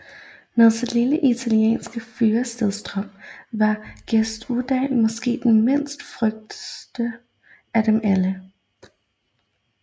Med sit lille italienske fyrstedømme var Gesualdo måske den mindste fyrste af dem alle